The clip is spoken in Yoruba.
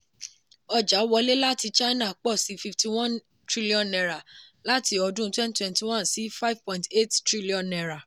ọjà wọlé láti china pọ̀ sí fifty one trillion naira láti ọdún twenty twenty one sí five point eight trillion naira.